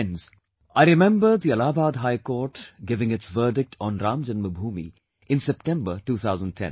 Friends, I remember when the Allahabad High Court gave its verdict on Ram Janmabhoomi in September 2010